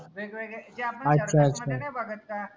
वेगवेगळे जे आपन नाई बघत का